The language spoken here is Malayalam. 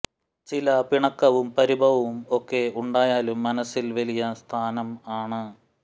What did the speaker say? ചില പിണക്കവും പരിഭവവും ഒക്കെ ഉണ്ടായാലും മനസ്സിൽ വലിയ സ്ഥാനം ആണ്